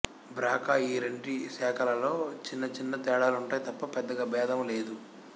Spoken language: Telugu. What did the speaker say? బ్రా కా ఈ రెంటి శాఖలలో చిన్న చిన్న తేడాలుంటాయి తప్ప పెద్దగా భేదము లేదు